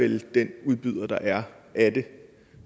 vel den udbyder der er af det